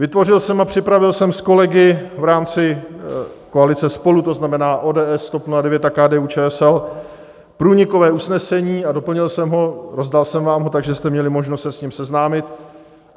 Vytvořil jsem a připravil jsem s kolegy v rámci koalice SPOLU, to znamená ODS, TOP 09 a KDU-ČSL, průnikové usnesení a doplnil jsem ho, rozdal jsem vám ho, takže jste měli možnost se s ním seznámit.